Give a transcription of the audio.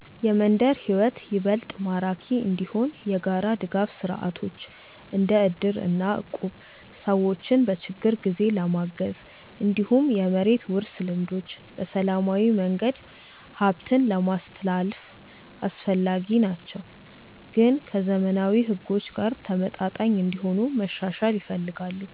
የመንደር ሕይወት ይበልጥ ማራኪ እንዲሆን የጋራ ድጋፍ ስርዓቶች እንደ እድር እና እቁብ ሰዎችን በችግር ጊዜ ለማገዝ፣ እንዲሁም የመሬት ውርስ ልምዶች በሰላማዊ መንገድ ሀብትን ለማስትላልፍ አስፈላጊ ናቸው፣ ግን ከዘመናዊ ሕጎች ጋር ተመጣጣኝ እንዲሆኑ መሻሻል ይፈልጋሉ።